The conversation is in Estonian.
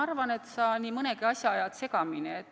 Ma arvan, et sa ajad nii mõnedki asjad segamini.